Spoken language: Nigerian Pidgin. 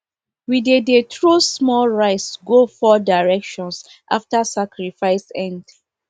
we dey dey throw small rice go four directions after sacrifice end